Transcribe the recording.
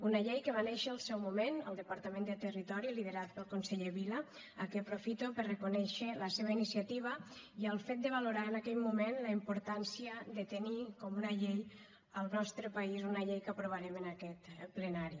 una llei que va néixer al seu moment al departament de territori liderat pel conseller vila a qui aprofito per reconèixer la seva iniciativa i el fet de valorar en aquell moment la importància de tenir una llei al nostre país una llei que aprovarem en aquest plenari